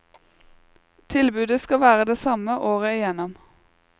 Tilbudet skal være det samme året i gjennom.